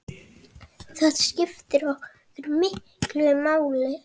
Það skiptir okkur miklu máli.